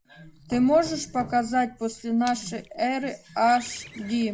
ты можешь показать после нашей эры аш ди